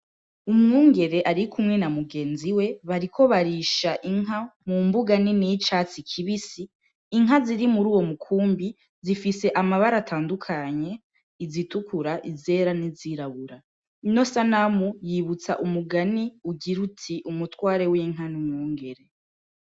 Umwungere arikumwe na mugenzi we, bariko barisha inka mu mbuga nini y'icatsi kibisi, inka ziri muri uwo mukumbi zifise amabara atandukanye, izitukura, izera, n'izirabura, ino sanamu yibutsa umugani ugira uti: "Umutware w'inka n'umwungere".